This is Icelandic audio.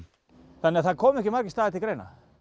þannig að það koma ekki margir staðir til greina